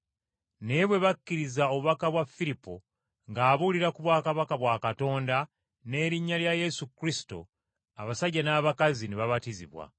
Naye bwe bakkiriza obubaka bwa Firipo ng’abuulira ku bwakabaka bwa Katonda n’erinnya lya Yesu Kristo abasajja n’abakazi ne babatizibwa.